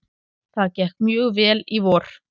Það gekk mjög vel í vor.